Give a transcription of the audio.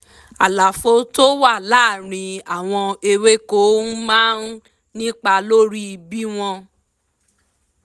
àlàfo tó wà láàárín àwọn ewéko máa ń nípa lórí bí wọ́n